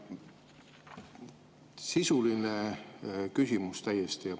Sisuline küsimus täiesti.